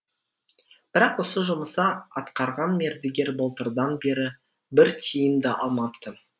бірақ осы жұмысты атқарған мердігер былтырдан бері бір тиын да алмапты